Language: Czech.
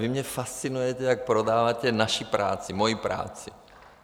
Vy mě fascinujete, jak prodáváte naši práci, moji práci.